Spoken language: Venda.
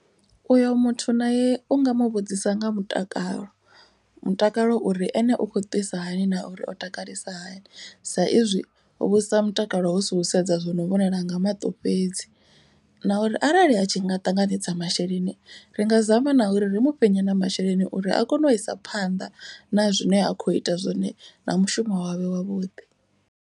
U yo muthu nae u nga muvhudzisa nga mutakalo. Mutakalo uri ene ukho twisa hani na uri o takalisa hani. Sa izwi u vhudzisa mutakalo hu si u sedza zwi no vhonala nga maṱo fhedzi. Na uri arali atshi nga ṱanganedza masheleni ri nga zama na uri ri mufhe nyana masheleni uri a kone u isa phanḓa na zwine akho ita zwone zwa mushumo wavhuḓi.